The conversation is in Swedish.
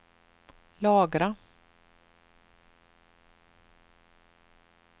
lagra